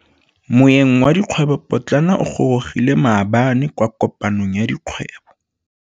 Moêng wa dikgwêbô pôtlana o gorogile maabane kwa kopanong ya dikgwêbô.